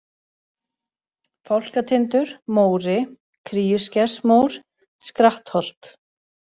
Fálkatindur, Móri, Kríuskersmór, Skrattholt